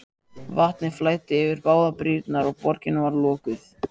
Vatnið flæddi yfir báðar brýrnar og borgin var lokuð.